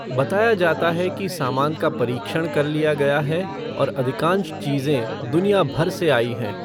बताया जाता है कि सामान का परीक्षण कर लिया गया है और अधिकांश चीज़ें दुनियाभर से आई हैं।